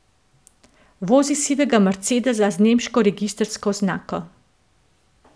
Vozi sivega mercedesa z nemško registrsko oznako.